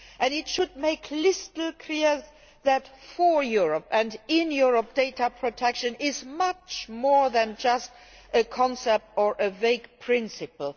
It should make crystal clear that for Europe, and in Europe, data protection is much more than just a concept or a vague principle.